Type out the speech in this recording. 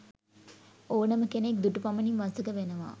ඕනම කෙනෙක් දුටු පමණින් වසඟ වෙනවා.